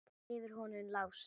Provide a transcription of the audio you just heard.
Yfir honum Lása?